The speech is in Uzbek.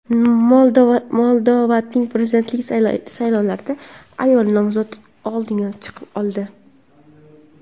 Moldovadagi prezidentlik saylovlarida ayol nomzod oldinga chiqib oldi.